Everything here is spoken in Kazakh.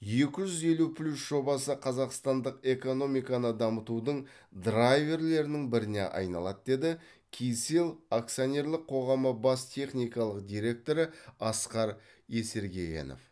екі жүз елу плюс жобасы қазақстандық экономиканы дамытудың драйверлерінің біріне айналады деді кселл акционерлік қоғамы бас техникалық директоры асқар есеркегенов